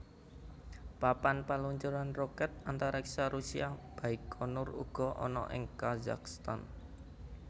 Papan paluncuran rokèt antariksa Rusia Baikonur uga ana ing Kazakhstan